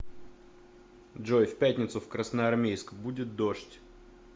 джой в пятницу в красноармейск будет дождь